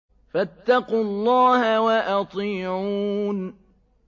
فَاتَّقُوا اللَّهَ وَأَطِيعُونِ